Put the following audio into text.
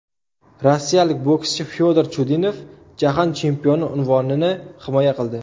Rossiyalik bokschi Fyodor Chudinov jahon chempioni unvonini himoya qildi.